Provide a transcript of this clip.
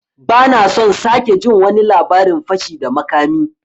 Ban son sake jin wani labarin fashi da makami!